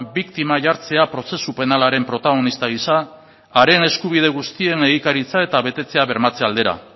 biktima jartzea prozesu penalaren protagonista gisa haren eskubide guztien egikaritza eta betetzea bermatze aldera